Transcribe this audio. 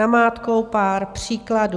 Namátkou pár příkladů.